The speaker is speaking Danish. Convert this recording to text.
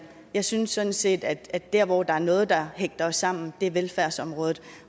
jeg synes sådan set at der hvor der er noget der hægter os sammen er på velfærdsområdet og